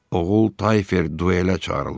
Oğul Tayfer duelə çağırılmışdı.